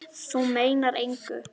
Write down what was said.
Þú meinar engu!